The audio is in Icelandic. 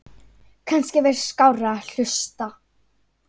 Kannski væri skárra að hlusta